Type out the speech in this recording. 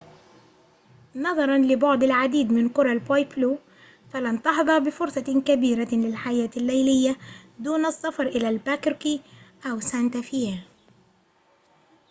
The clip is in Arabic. نظراً لبُعد العديد من قرى البويبلو فلن تحظى بفرصة كبيرة للحياة الليلية دون السفر إلى ألباكركي أو سانتا فيه